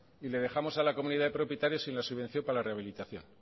y le dejamos a la comunidad de propietarios sin la subvención para la rehabilitación